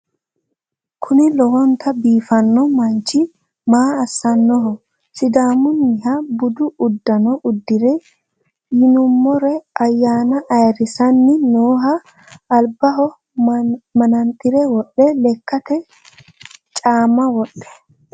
kuni lowonta biifanno manchi maa assannoho sidaamunnita budu uddanna udire yinummoro ayyana ayrisanni nooho albaho manaxire wodhe lekkate caamma wodhe